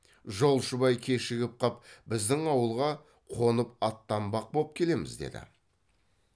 жолшыбай кешігіп қап біздің ауылға қонып аттанбақ боп келеміз деді